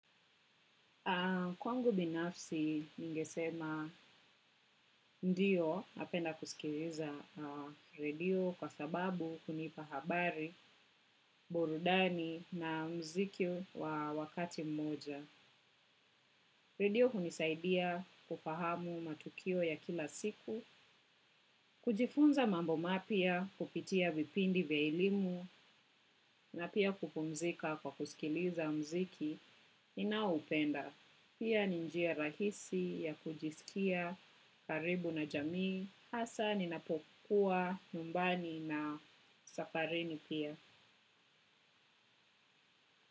Na kwangu binafsi ningesema ndio napenda kusikiliza radio kwa sababu hunipa habari, borudani na mziki wa wakati mmoja. Radio kunisaidia kufahamu matukio ya kila siku, kujifunza mambo mapya kupitia vipindi vya elimu na pia kupumzika kwa kusikiliza mziki ninaoupenda. Pia ni njia rahisi ya kujiskia karibu na jamii hasa ninapokuwa nyumbani na safarini pia.